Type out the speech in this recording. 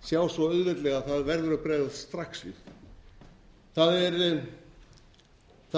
sjá svo auðveldlega að það verður að bregðast strax við það